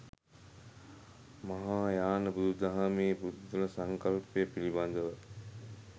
මහායාන බුදුදහමේ පුද්ගල සංකල්පය පිළිබඳව